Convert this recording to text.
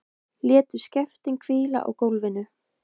Létu skeftin hvíla á gólfinu.